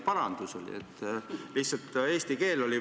Parandati lihtsalt eesti keelt.